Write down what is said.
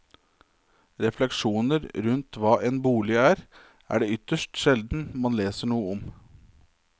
Refleksjoner rundt hva en bolig er, er det ytterst sjelden man leser noe om.